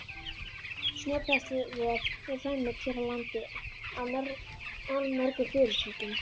Snjóbræðslurör eru framleidd hér á landi af allmörgum fyrirtækjum.